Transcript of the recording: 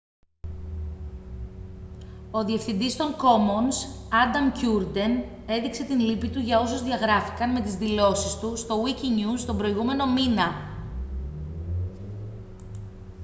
ο διευθυντής των commons άνταμ κιούρντεν έδειξε την λύπη του για όσους διαγράφηκαν με τις δηλώσεις του στο wikinews τον προηγούμενο μήνα